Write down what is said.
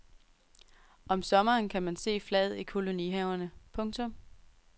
Om sommeren kan man se flaget i kolonihaverne. punktum